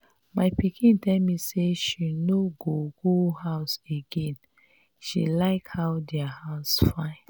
my pikin tell me say she no go go house again. she like how their house fine.